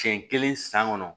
Siɲɛ kelen san kɔnɔ